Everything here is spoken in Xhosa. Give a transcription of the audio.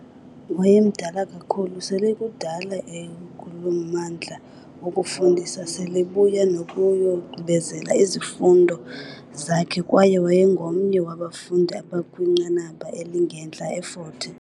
Wayemdala kakhulu, sele kudala ekulommandla wokufundisa, selebuya nokuyogqibezela izifundo zakhe kwaye wayengomnye wabafundi abakwinqanaba elingentla e-Fort Hare